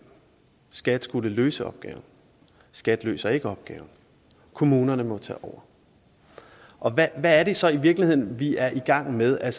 skat skulle løse opgaven skat løser ikke opgaven kommunerne må tage over og hvad er det så i virkeligheden vi er i gang med at